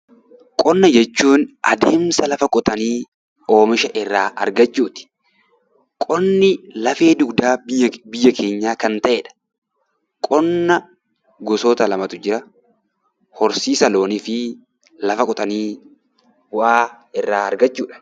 Qonna jechuun adeemsa lafa qotanii oomisha irraa argachuuti. Qonni lafee dugdaa biyya keenyaa kan ta'edha. Qonna gosoota lamatu jira. Horsiisa loonii fi lafa qotanii bu'aa irraa argachuudha.